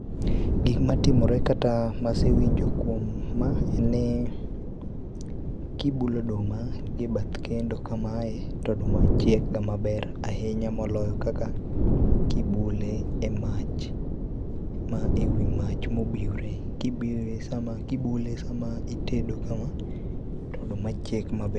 Gikma timore kata masewinjo kuom ma, en ni, kibulo oduma gi e bath kendo kamae to oduma chiek ga maber ahinya moloyo kaka kibule e mach, ewi mach mobiwre. Kibule sama itedo kama to oduma chiek maber